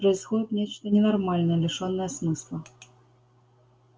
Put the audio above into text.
происходит нечто ненормальное лишённое смысла